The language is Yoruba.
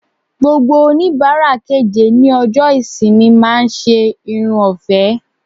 Gbogbo onibara keje ni ọjọ ìsinmi ma se Irun ofe